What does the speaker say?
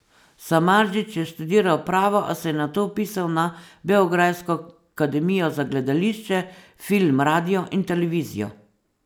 Samardžić je študiral pravo, a se je nato vpisal na beograjsko Akademijo za gledališče, film, radio in televizijo.